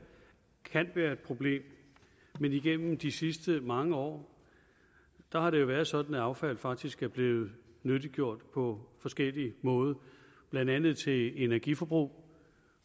kan være et problem men igennem de sidste mange år har det været sådan at affald faktisk er blevet nyttiggjort på forskellig måde blandt andet til energiforbrug